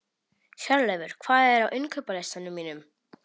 Hjörleifur, hvað er á innkaupalistanum mínum?